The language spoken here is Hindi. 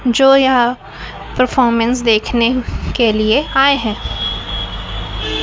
जो यहां परफॉर्मेंस देखने के लिए आए है।